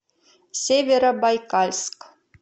северобайкальск